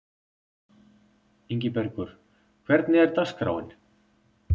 Ingibergur, hvernig er dagskráin?